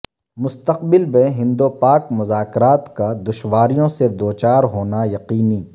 مستقبل میں ہند و پاک مذاکرات کا دشواریوں سے دوچار ہونا یقینی